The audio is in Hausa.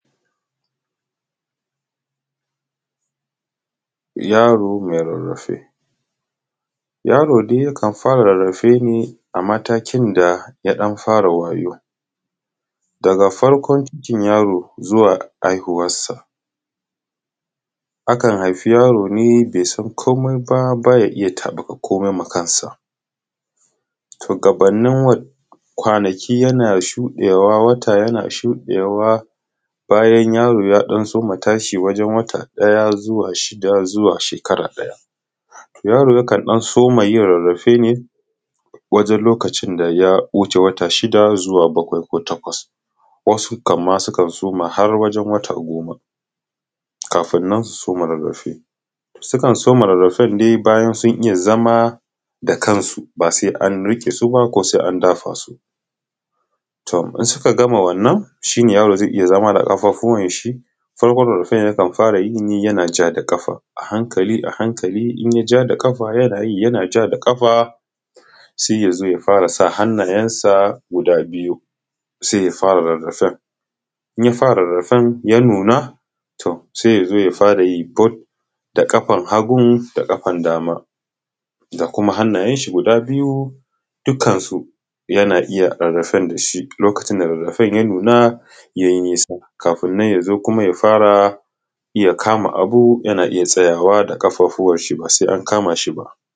yaro mai rarrafe yaro dai yakan fara rarrafe ne a matakin da yadan fara wayau daga farkon cikin yaro zuwa haihuwarsa akan haifin yaro ne baisan komai ba baya iyya tabuka komai ma kansa to gabannin wannan kwanaki yana shudewa wata yana shudewa bayan yaro yadan soma tashi wajen wata daya zuwa shida zuwa shekara daya yaro yakan dan soma yin rarrafe ne bayan lokacin da ya wuce wata shida zuwa bakwai ko takwas wasu ka:m ma sukan so:ma ha:ɽ waʤe:n wata go:ma ka:ɸin su so:ma ɽa:ɽɽaɸe sukan so:ma ɽa:ɽɽaɸen ne ba:ϳan sun iϳϳa zama da ka:nsu basa:i anɽike suba ko: sa:i a:ndaɸa su to: idan suka gama wa:nnan ϳa:ɽo: za:i iϳϳa zama da ƙaɸa:ɸuwan ʃi: sabo:n ɽa:ɽɽaɸen ϳakan ɸaɸa:ɽa ϳine ϳanaʤa da ƙaɸa a ha:nkali a ha:nkali ϳanaʤa: da ƙaɸa ϳanaʤa: da ƙaɸa saiya zo ya fara sa hannanyensa guda biyu sai yazo ya fara rarrafen inya fara rarrafen ya nuna sai yazo yarayi bot da kafan hagu da kafan dama da kuma hannayen shi guda biyu dukkan su yana iyya rarrafen dashi lokacin da rarrafen ya nuna kafuƙn nan yazo kuma ya fara iyya kama abu yana tsayawa da kafafuwan shi basai ankama shi ba.